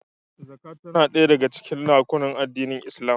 Zakat tana ɗaya daga rukunin addinin Islam